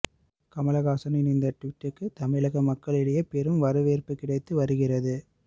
கமல்ஹாசனின் இந்த டுவீட்டுக்கு தமிழக மக்களிடையே பெரும் வரவேற்பு கிடைத்து வருகிறது